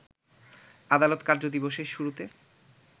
আদালত কার্যদিবসের শুরুতে